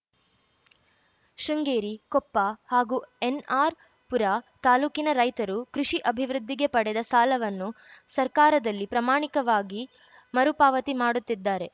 ಶೃಂಗೇರಿ ಕೊಪ್ಪ ಹಾಗೂ ಎನ್‌ಆರ್‌ಪುರ ತಾಲೂಕಿನ ರೈತರು ಕೃಷಿ ಅಭಿವೃದ್ಧಿಗೆ ಪಡೆದ ಸಾಲವನ್ನು ಸರ್ಕಾರದಲ್ಲಿ ಪ್ರಾಮಾಣಿಕವಾಗಿ ಮರುಪಾವತಿ ಮಾಡುತ್ತಿದ್ದಾರೆ